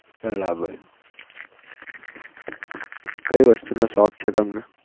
બરાબર કઈ વસ્તુ નો શોખ છે તમને?